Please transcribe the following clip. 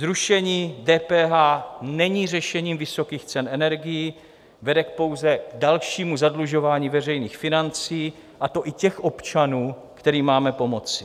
Zrušení DPH není řešením vysokých cen energií, vede pouze k dalšímu zadlužování veřejných financí, a to i těch občanů, kterým máme pomoci.